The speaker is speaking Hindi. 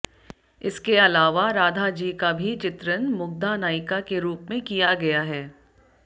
इसके इलावा राधा जी का भी चित्रण मुग्धा नायिका के रूप मे किया गया है